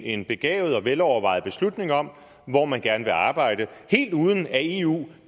en begavet og velovervejet beslutning om hvor man gerne vil arbejde helt uden at eu